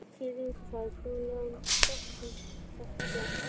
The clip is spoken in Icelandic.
Klifra upp á þak- hjóla án hjálpardekkja